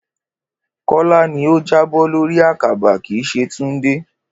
Kó̩lá ni ó jábó̩ lórí àkàbà, kì í s̩e Túndé